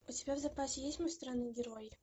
у тебя в запасе есть мой странный герой